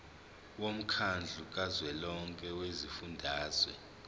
womkhandlu kazwelonke wezifundazwe